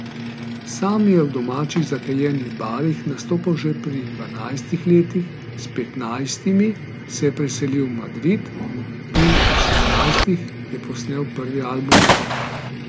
Sam je v domačih zakajenih barih nastopal že pri dvanajstih letih, s petnajstimi se je preselil v Madrid, pri osemnajstih je posnel prvi album.